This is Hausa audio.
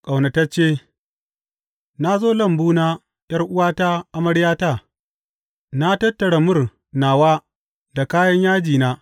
Ƙaunatacce Na zo lambuna, ’yar’uwata, amaryata; na tattara mur nawa da kayan yajina.